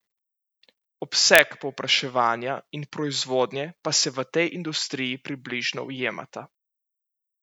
Obseg povpraševanja in proizvodnje pa se v tej industriji približno ujemata.